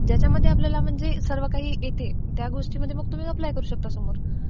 ज्याच्यामध्ये म्हणजे आपल्याला सर्व काही येते, त्या गोष्टींमध्ये मग तुम्ही एप्लाय करू शकता समोर.